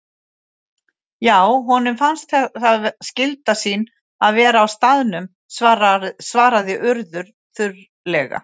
Já, honum fannst það skylda sín að vera á staðnum- svaraði Urður þurrlega.